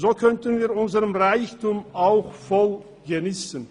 So könnten wir unseren Reichtum auch vollumfänglich geniessen.